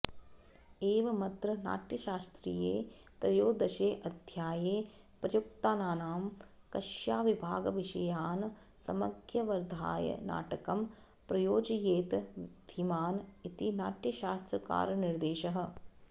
एवमत्र नाट्यशास्त्रीये त्रयोदशेऽध्याये प्रयुक्तानां कक्ष्याविभागविषयान् सम्यगवधार्य नाटकं प्रयोजयेत् धीमान् इति नाट्यशास्त्रकारनिर्देशः